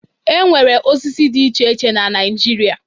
E nwere osisi dị iche iche na Naịjirịa.